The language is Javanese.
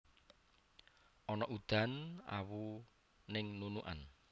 Ono udan awu ning Nunukan